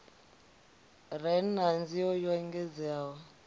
re na nzio yo engedzeaho